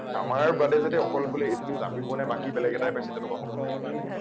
আমাৰ বাদে যাতে অকল বোলে এইটো news আমি পোৱা নাই বাকী বেলেগ এটাই পাইছে তেনেকুৱা হব নোৱাৰিব কোনো কাৰণত।